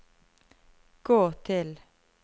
gå til